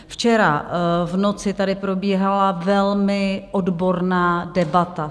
Včera v noci tady probíhala velmi odborná debata.